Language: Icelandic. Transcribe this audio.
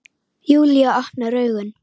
Júlía opnar augun.